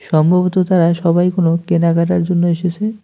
সম্ভবত তারা সবাই কোনো কেনাকাটার জন্য এসেছে।